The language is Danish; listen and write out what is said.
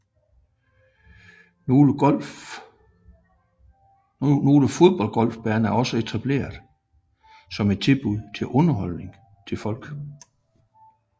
Nogle fodboldgolfbaner er også etableret som et tilbud til underholdning til folk